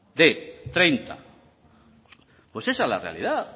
b hogeita hamar pues esa es la realidad